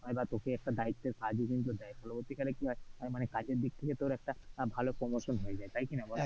তোকে একটা দায়িত্বের কাজও কিন্তু দেয়, পরবর্তী কালে কি হয় আহ মানে কাজের দিক থেকে তর একটা আহ ভাল promotion হয়ে যায়, তাই কিনা বল ,